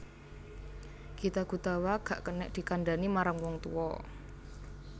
Gita Gutawa gak kenek dikandhani marang wong tuwa